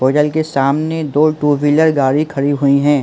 Fossil के सामने दो टू व्हीलर गाड़ी खड़ी हुई है।